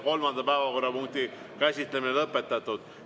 Kolmanda päevakorrapunkti käsitlemine on lõpetatud.